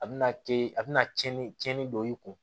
A bɛna a bɛna tiɲɛni tiɲɛni don i kun